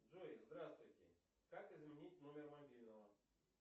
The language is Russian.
джой здравствуйте как изменить номер мобильного